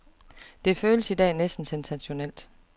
Det føles i dag næsten sensationelt.